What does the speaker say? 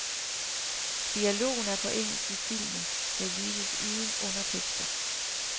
Dialogen er på engelsk i filmen, der vises uden undertekster.